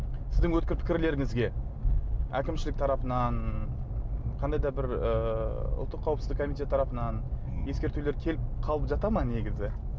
сіздің өткір пікірлеріңізге әкімшілік тарапынан қандай да бір ыыы ұлттық қауіпсіздік комитеті тарапынан ескертулер келіп қалып жата ма негізі